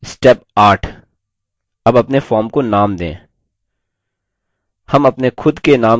step 8 अब अपने form को name दें